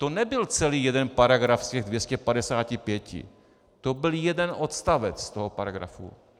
To nebyl celý jeden paragraf z těch 255, to byl jeden odstavec toho paragrafu!